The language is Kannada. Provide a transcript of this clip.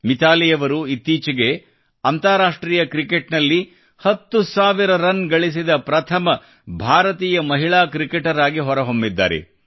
ಮಿತಾಲಿಯವರು ಇತ್ತೀಚೆಗೆ ಅಂತಾರಾಷ್ಟ್ರೀಯ ಕ್ರಿಕೆಟ್ನಲ್ಲಿ ಹತ್ತು ಸಾವಿರ ರನ್ ಗಳಿಸಿದ ಪ್ರಥಮ ಭಾರತೀಯ ಮಹಿಳಾ ಕ್ರಿಕೆಟರ್ ಆಗಿ ಹೊರಹೊಮ್ಮಿದ್ದಾರೆ